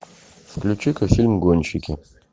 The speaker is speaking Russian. включи ка фильм гонщики